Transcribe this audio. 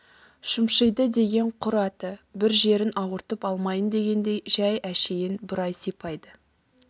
шымшиды деген құр аты бір жерін ауыртып алмайын дегендей жәй әшейін бұрай сипайды